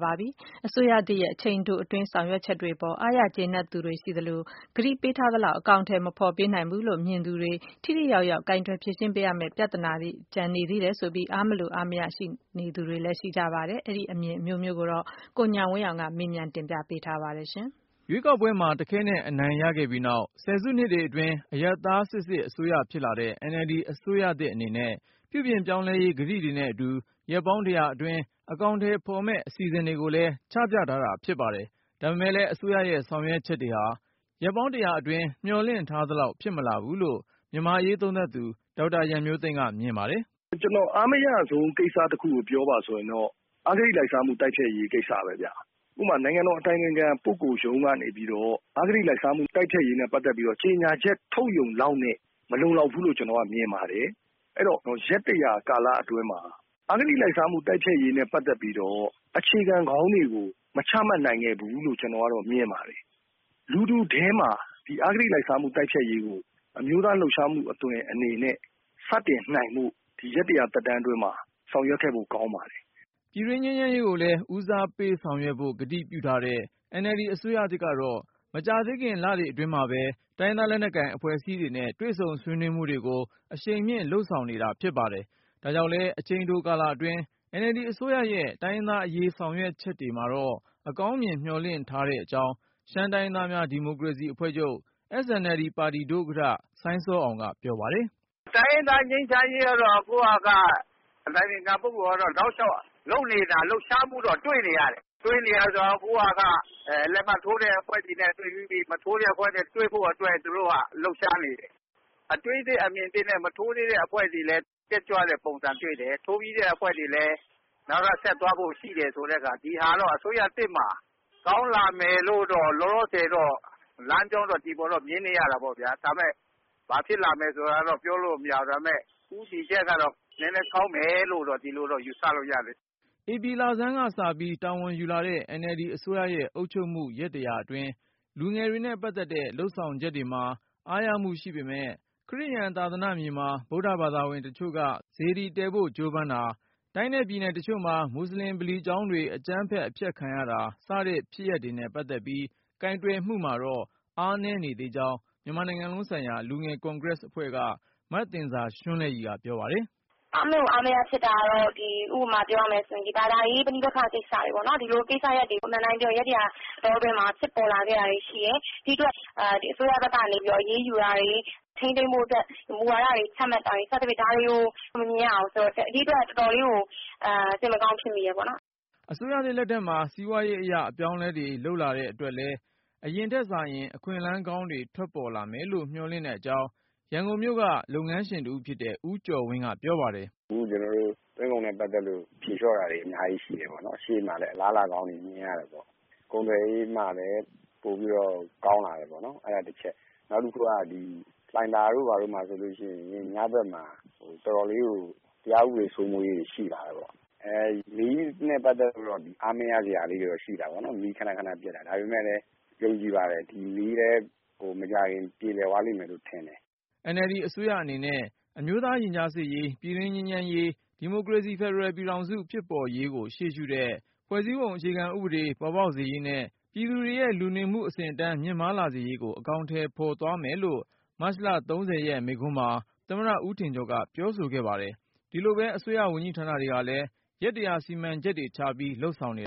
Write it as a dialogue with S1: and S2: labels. S1: ပါတယ်။ အစိုးရအနေနဲ့ အချိန်တိုအတွင်း ဆောင်ရွက်နိုင်ခဲ့တာတွေအပေါ် အားရကျေနပ်သူတွေ ရှိသလို၊ ကတိပေးထားသလောက် အကောင်အထည် မဖော်နိုင်ဘူး လို့ မြင်သူတွေ၊ ထိထိရောက်ရောက် ကိုင်တွယ်ဖြေရှင်း ရမယ့် ပြဿနာတွေ ကျန်သေးတယ်လို့ ပြောသူတွေလည်း ရှိပါတယ်။ အပြည့်အစုံကိုတော့ ဆက်သွယ်မေးမြန်းထားတဲ့ ကိုဉာဏ်ဝင်းအောင်က တင်ပြပါမယ်။ ရွေးကောက်ပွဲမှာ တခဲနက် အနိုင်ရခဲ့ပြီးနောက် ဆယ်စုနှစ်တွေအတွင်း အရပ်သားစစ်စစ် အစိုးရဖြစ်လာတဲ့ NLD အစိုးရသစ် အနေနဲ့ ပြုပြင်ပြောင်းလဲရေး ကတိတွေနဲ့အတူ ရက်ပေါင်း ၁၀၀ အတွင်း အကောင်အထည်ဖော်မယ့် အစီအစဉ်တွေ ကိုလည်း ချပြထားတာ ဖြစ်ပါတယ်။ ဒါပေမဲ့လည်း အစိုးရရဲ့ ဆောင်ရွက် ချက်တွေဟာ ရက်ပေါင်း ၁၀၀ အတွင်း မျှော်လင့် ထား သလောက် ဖြစ်မလာဘူးလို့ မြန်မာ့အရေးသုံးသပ်သူ ဒေါက်တာရန်မျိုးသိမ်းက မြင်ပါတယ်
S2: ။ " ကျနော် အားမရဆုံး ကိစ္စတခုကို ပြောပါဆိုရင်တော့ အဂတိလိုက်စားမှု တိုက်ဖျက်ရေး ကိစ္စပဲဗျ။ ဥပမာ နိုင်ငံတော်အတိုင်ပင်ခံပုဂ္ဂိုလ်ရုံးကနေပြီးတော့ အဂတိလိုက်စားမှုတိုက်ဖျက်ရေးနဲ့ ပတ်သက်ပြီးတော့ ကြေညာချက် ထုတ်ရုံလောက်နဲ့ မလုံလောက်ဘူးလို့ ကျနော်ကတော့ မြင်ပါတယ်။ အဲ့ဒီ့တော့ ရက်တရာ ကာလ အတွင်းမှာ အဂတိလိုက်စားမှု ပပျောက်ရေးနဲ့ပတ်သက်ပြီးတော့ အခြေခံကောင်းတွေ မချမှတ်နိုင်ခဲ့ဘူးလို့ ကျနော်ကတော့မြင်ပါတယ်။ လူထုထဲမှာ ဒီ အဂတိလိုက်စားမှုကို အမျိုးသားလှုပ်ရှားမှုအသွင်နဲ့ စတင်နိုင်ဖို့ ဒီရက်(၁၀၀) သက်တမ်းအတွင်းမှာ ဆောင်ရွက်ခဲ့ဖို့ ကောင်းပါတယ်။
S1: " ပြည်တွင်းငြိမ်းချမ်းရေးကိုလည်း ဦးစားပေးဆောင်ရွက်ဖို့ ကတိပြုထားတဲ့ NLD အစိုးရသစ်ကတော့ မကြာသေးခင် လတွေအတွင်းမှာပဲ တိုင်းရင်းသား လက်နက်ကိုင် အဖွဲ့အစည်းတွေနဲ့ တွေ့ဆုံဆွေးနွေးမှုတွေကိုလည်း အရှိန်မြှင့် လုပ်ဆောင်နေတာ ဖြစ်ပါတယ်။ ဒါကြောင့်လည်း အချိန်တို ကာလအတွင်း NLD အစိုးရရဲ့ တိုင်းရင်းသားအရေး ဆောင်ရွက်ချက်တွေမှာတော့ အကောင်းမြင် မျှော်လင့် ထားတဲ့အကြောင်း ရှမ်းတိုင်းရင်းသားများဒီမိုကရေစီအဖွဲ့ချုပ် SNLD ပါတီ ဒုဥက္ကဋ္ဌ စိုင်းစောအောင် ကပြောပါတယ်
S3: ။ " တိုင်းရင်းသားငြိမ်းချမ်းရေးကတော့ အခုဟာက အတိုင်ပင်ခံပုဂ္ဂိုလ်က လုပ်နေတာ လှုပ်ရှားမှုကတော့ တွေ့နေရတယ်။ အခုဟာက လက်မှတ်ထိုးတဲ့ အဖွဲ့တွေ နဲ့တွေ့ပြီးပြီ။ မထိုးရသေးတဲ့ အဖွဲ့တွေနဲ့တွေ့ဖို့က လှုပ်ရှားနေတယ်။ အတွေးသစ် အမြင်သစ်နဲ့ မထိုးရသေးတဲ့ အဖွဲ့တွေလည်း တက်ကြွတဲ့ပုံစံတွေ့တယ်။ ထိုးပြီးတဲ့ အဖွဲ့တွေလည်း နောက်ထပ် ဆက်သွားဖို့ ရှိတဲ့ဆိုတဲ့ဟာ ဒီဟာ အစိုးရသစ်မှာ ကောင်းလာမယ်လို့တော့ လောလောဆယ် တော့ လမ်းကြောင်းတော့ မြင်နေရတာပေါ့။ ဒါပေမဲ့ ဘာဖြစ်လာမလဲ ဆိုတာကတော့ ပြောလို့မရသေးဘူး။ ဒါပေမဲ့ ဦးတည်ချက်ကတော့ နည်းနည်းကောင်းမယ်လို့ ဒီလိုတော့ ယူဆလို့ရတယ်။
S1: " ဧပြီလဆန်းကစပြီး တာဝန်ယူလာတဲ့ NLD အစိုးရရဲ့အုပ်ချုပ်မှု ရက် ၁၀၀ အတွင်းလူငယ်တွေနဲ့ ပတ်သက်တဲ့ လုပ်ဆောင်ချက်တွေမှာ အားရမှု ရှိပေမယ့်၊ ခရစ်ယာန်သာသနာ့မြေမှာ ဗုဒ္ဓဘာသာဝင်တချို့က စေတီတည်ဖို့ကြိုးပမ်းတာ၊ တိုင်းနဲ့ပြည်နယ်တချို့မှာ မူဆလင်ဗလီ ကျောင်းတွေ အကြမ်းဖက်အဖျက်ခံရတာ စတဲ့ဖြစ်ရပ်တွေနဲ့ပတ်သက်ပြီး ကိုင်တွယ်မှုမှာတော့ အားနည်းနေသေးကြောင်း မြန်မာနိုင်ငံလုံး ဆိုင်ရာ လူငယ် ကွန်ဂရက်အဖွဲ့က မသဉ္ဇာရွှန်းလဲ့ရည်က ပြောပါတယ်။
S3: " အားမလို အားမရဖြစ်တာကတော့ ဒီ ဥပမာပြောရမယ်ဆိုရင် ဘာသာရေး ပဋိပက္ခတွေပေါ့။ ဒီလိုမျိုးကိစ္စတွေက အမှန်အတိုင်းပြောရရင် ရက်တရာ အတောအတွင်းမှာ ပေါ်လာခဲ့တာတွေရှိတယ်။ ဒီ့အတွက် အစိုးရဘက်နေ အရေးယူတာတွေ ထိန်းသိမ်းဖို့အတွက် မူဝါဒတွေ ချမှတ်တာတွေ ဒါတွေကို မမြင်ရဘူး။ ဒီ့အတွက် တော်တော်လေးကို စိတ်မကောင်းဖြစ်မိတယ်ပေါ့နော်
S1: ။" အစိုးရသစ်လက်ထက်မှာ စီးပွားရေးအရ အပြောင်းအလဲတွေ လုပ်လာတဲ့ အတွက်လည်း အရင်ထက်စာရင် အခွင့်အလမ်းကောင်းတွေ ထွက်ပေါ်လာမယ် လို့ မျှော်လင့်တဲ့အကြောင်း ရန်ကုန်မြို့က လုပ်ငန်းရှင်တဦးဖြစ်တဲ့ ဦးကျော်ဝင်းက ပြောပါတယ်။
S4: " အခု ကျနော်တို့ သွင်းကုန်နဲ့ ပတ်သက်လို့ ဖြေလျော့တာတွေ အများကြီး ရှိတယ်ပေါ့နော်။ အရှေ့မှာလည်း အလားအလာကောင်းတွေ မြင်ရတယ်ပေါ့။ ကုန်သွယ်ရေးမှာလည်း ပိုပြီးတော့ ကောင်းလာတယ်ပေါ့။ အဲ့တာတချက်။ နောက်တခု က လှိုင်သာယာတို့ ဘာတို့မှာ ညဘက်မှာ တရားဥပဒေ စိုးမိုးမှုတွေ ရှိလာတယ်ပေါ့။ မီးနဲ့ပတ်သက်လို့တော့ အားမရစရာလေးတွေတော့ ရှိတာပေါ့နော်။ ခန ခနပျက်တာ ဒါပေမဲ့လည်း ယုံကြည်ပါတယ်။ မီးလည်း မကြာခင် ပြေလည်သွားလိမ့်မယ်လို့ ထင်တယ်။
S1: " NLD အစိုးရအနေနဲ့ အမျိုးသားရင်ကြားစေ့ရေး၊ ပြည်တွင်းငြိမ်းချမ်းရေး၊ ဒီမိုကရေစီ ဖက်ဒရယ်ပြည်ထောင်စု ဖြစ်ပေါ်ရေးကိုရှေးရှုတဲ့ ဖွဲ့စည်းပုံ အခြေခံဥပဒေ ပေါ်ပေါက်စေရေး နဲ့ ပြည်သူတွေရဲ့လူနေမှု အဆင့်အတန်းမြင့်မား လာစေရေး ကို အကောင်ထည်ဖော်သွားမယ်လို့ မတ်လ(၃၀) ရက်မိန့်ခွန်းမှာ သမ္မတ ဦးထင်ကျော်က ပြောဆိုခဲ့ပါတယ်။ ဒီလိုပဲ အစိုးရဝန်ကြီးဌာနတွေကလည်း ရက်(၁၀၀)စီမံချက်တွေချပြီး လုပ်ဆောင်နေ